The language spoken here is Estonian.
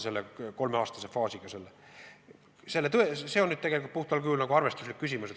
See on aga tegelikult puhtal kujul arvestuslik mudel.